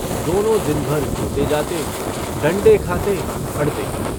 दोनों दिनभर जोते जाते डण्डे खाते अडते।